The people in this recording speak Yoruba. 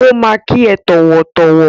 Ó máa kí ẹ tọ̀wọ̀tọ̀wọ̀.